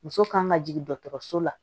Muso kan ka jigin dɔgɔtɔrɔso la